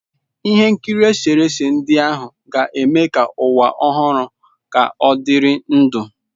Ihe nkiri eserese ndị ahụ ga-eme ka ụwa ọhụrụ ka ọdịrị ndụ.